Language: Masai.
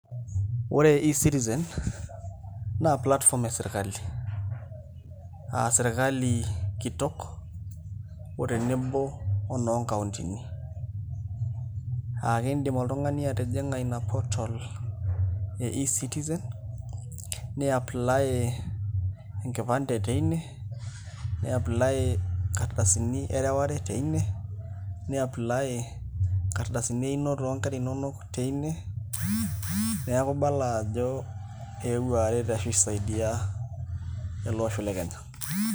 Ore eCitizen naa platform esirkali aa sirkali kitok o tenebo onoonkauntini aa kiidim oltung'ani atijing'a ina portal e eCitizen niapply enkipande teine niapply inkardasini ereware teine niapply inkardasini einoto oonkera inonok teine, neeku ibala ajo eewuo aret ashu aisaidia ele osho le Kenya.